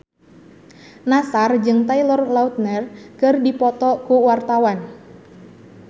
Nassar jeung Taylor Lautner keur dipoto ku wartawan